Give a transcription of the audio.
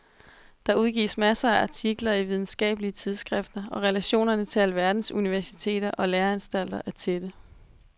Der udgives masser af artikler i videnskabelige tidsskrifter og relationerne til alverdens universiteter og læreanstalter er tætte.